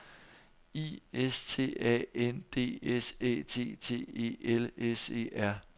I S T A N D S Æ T T E L S E R